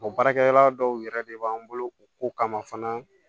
O baarakɛ yɔrɔ dɔw yɛrɛ de b'an bolo u ko kama fana